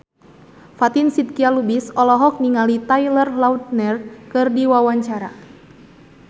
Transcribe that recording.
Fatin Shidqia Lubis olohok ningali Taylor Lautner keur diwawancara